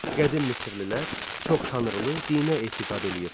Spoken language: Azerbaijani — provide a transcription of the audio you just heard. Qədim misirlilər çox tanrılı dinə etiqad eləyirdilər.